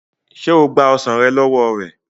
ṣe o gba ọsán ló wọ rẹ?